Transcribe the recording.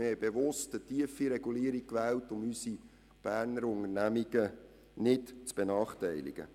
Wir wählten bewusst eine niederschwellige Regulierung, um unsere Berner Unternehmungen nicht zu benachteiligen.